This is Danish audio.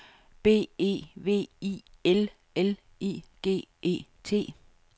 B E V I L L I G E T